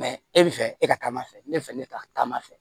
e bi fɛ e ka taama fɛ ne fɛ ne ta taama fɛ